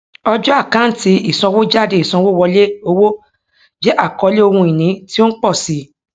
ọjọ àkáǹtí ìsanwójádeìsanwówọlé owó jẹ àkọlé ohun ìní tí o ń pọ sí